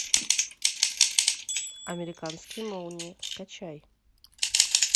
американские молнии скачай